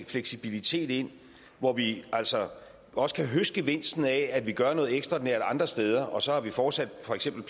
fleksibilitet ind hvor vi altså også kan høste gevinsten af at vi gør noget ekstraordinært andre steder og så vi fortsat for eksempel